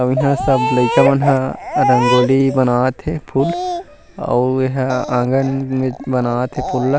अऊ इहाँ सब लइका मन ह रंगोली बनात हेअऊ एहा आँगन मे बनात हे फूल ल-- --